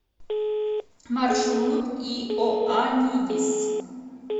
маршрут иоанидис